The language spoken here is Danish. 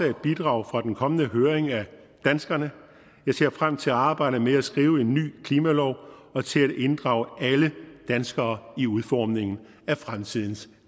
et bidrag fra den kommende høring af danskerne jeg ser frem til arbejdet med at skrive en ny klimalov og til at inddrage alle danskere i udformningen af fremtidens